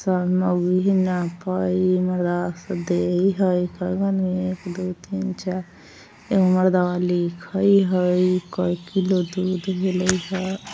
एक दो तीन चार एगो मर्दवा लिखय है| कईगो किलो दूध मिलेय है |